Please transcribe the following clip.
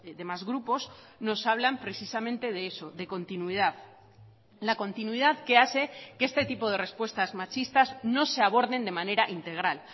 demás grupos nos hablan precisamente de eso de continuidad la continuidad que hace que este tipo de respuestas machistas no se aborden de manera integral